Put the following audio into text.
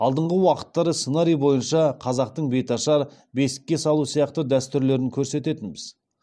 алдыңғы уақыттары сценарий бойынша қазақтың беташар бесікке салу сияқты дәстүрлерін көрсететінбіз